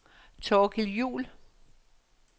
Thorkild Juhl